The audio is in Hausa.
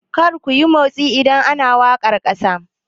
Kar kuyi motsi idan ana wakar kasa!